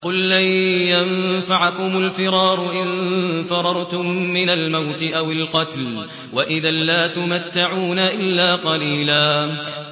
قُل لَّن يَنفَعَكُمُ الْفِرَارُ إِن فَرَرْتُم مِّنَ الْمَوْتِ أَوِ الْقَتْلِ وَإِذًا لَّا تُمَتَّعُونَ إِلَّا قَلِيلًا